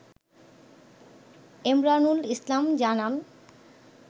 এমরানুল ইসলাম জানান